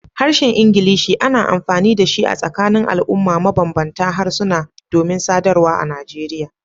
Harshen Ingilishi ana amfani da shi a tsakanin al'umma mabanbanta harsuna domin sadarwa a Nigeria.